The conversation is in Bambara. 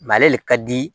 ale le ka di